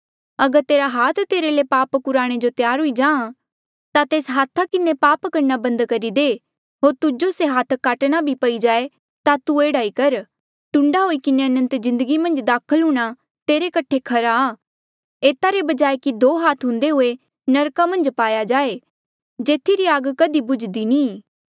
अगर तेरा हाथ तेरे ले पाप कुराणे जो त्यार हुई जाए ता तेस हाथा किन्हें पाप करणा बंद करी दे होर तुजो से हाथ काटणा भी पई जाए ता तू एह्ड़ा ई कर टुंडा हुई किन्हें अनंत जिन्दगी मन्झ दाखल हूंणां तेरे कठे खरा आ एता रे बजाय कि दो हाथ हुंदे हुए नरका मन्झ पाया जाए जेथी री आग कधी बुझदी नी ई